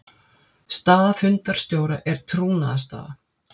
Staða fundarstjóra er trúnaðarstaða.